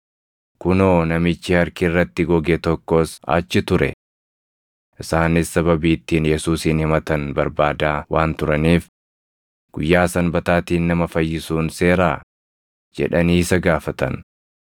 kunoo, namichi harki irratti goge tokkos achi ture. Isaanis sababii ittiin Yesuusin himatan barbaadaa waan turaniif, “Guyyaa Sanbataatiin nama fayyisuun seeraa?” jedhanii isa gaafatan.